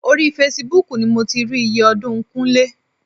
Orí Facebook ni mo ti rí iye ọdún Kúnlé.